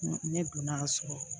Ne donn'a sɔrɔ